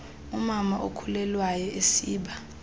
umama okhulelwayo esiba